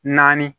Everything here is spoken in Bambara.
Naani